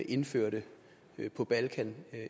indførte på balkan